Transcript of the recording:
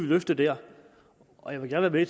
løfte der og jeg vil gerne være